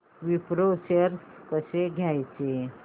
Wipro shares कसे घ्यायचे